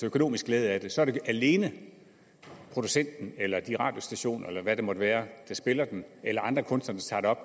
økonomisk glæde af det så er det alene producenten eller de radiostationer eller hvad det måtte være der spiller den eller andre kunstnere der